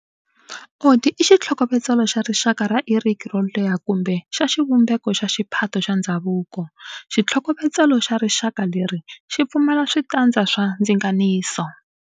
Odi i xitlhokovetselo xarixaka ra iriki yo leha kumbe xa xivumbeko xa xiphato xa ndzhavuko, xitlhokovetselo xa rixaka leri xi pfumala switandza swa ndzinganiso.